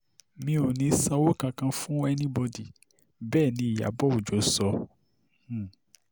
mi ò ní í um sanwó kankan fún ẹnibodè bẹ́ẹ̀ ní ìyàbọ̀ ọjọ́ sọ um